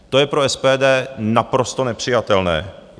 To je pro SPD naprosto nepřijatelné.